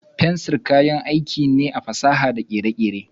Fensir kayan aiki ne a fasaha da kere-kere.